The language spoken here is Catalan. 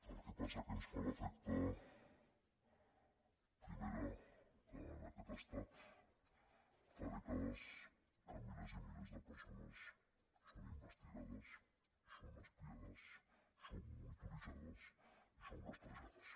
el que passa que ens fa l’efecte primera que en aquest estat fa dècades que milers i milers de persones són investigades són espiades són monitoritzades i són rastrejades